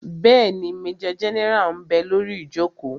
Bẹ́ẹ̀ni, majọ gẹ́nẹ́rà ḿ bẹ lórí ìjòkó